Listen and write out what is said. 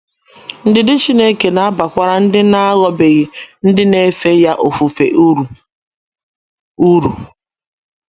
Ndidi Chineke na - abakwara ndị na - aghọbeghị ndị na - efe ya ofufe uru. uru.